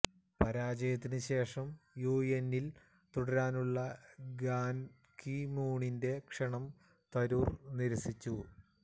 പരാജയത്തിന് ശേഷം യുഎന്നിൽ തുടരാനുള്ള ബാൻ കി മൂണിന്റെ ക്ഷണം തരൂർ നിരസിച്ചു